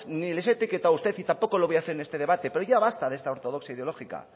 ni les he etiquetado a usted ni tampoco lo voy a hacer en este debate pero ya basta de esta ortodoxia ideológica